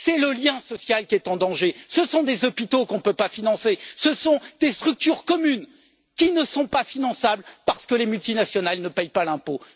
C'est le lien social qui est en danger ce sont des hôpitaux qu'on ne peut financer, ce sont des structures communes qui ne sont pas finançables parce que les multinationales ne payent pas l'impôt.